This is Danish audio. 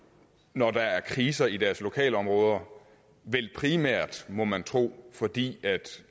når der er kriser i deres lokalområder vel primært må man tro fordi de